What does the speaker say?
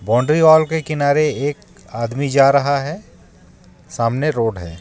Boundary wall के किनारे एक आदमी जा रहा है सामने रोड है.